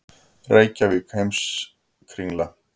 Reykjavík: Heimskringla.